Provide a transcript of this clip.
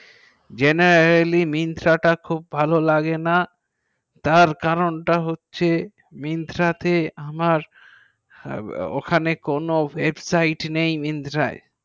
GeneraliMyntra টি খুব ভালো লাগে না যার কারণ তা হচ্ছে যে Myntra আমার ওখানে veg tyep নাই Myntra